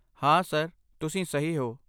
ਹਾਂ, ਸਰ, ਤੁਸੀਂ ਸਹੀ ਹੋ।